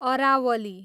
Aravalli